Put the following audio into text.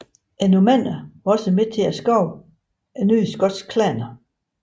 Normannerne var også med til at skabe nye skotske klaner